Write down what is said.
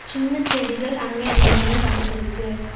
சின்ன செடிகள் அங்க இங்கேனு வளந்துருக்கு.